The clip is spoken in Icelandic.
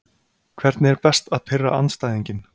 Hvernig er best að pirra andstæðinginn?